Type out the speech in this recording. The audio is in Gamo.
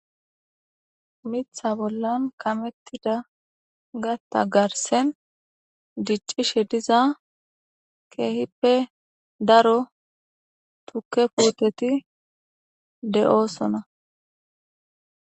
Mitha bollan kamettida gata garsen diccishe diza keehippe daro tukke puuteti de'oosona.